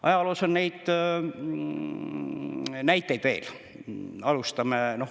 Ajaloos on neid näiteid veel.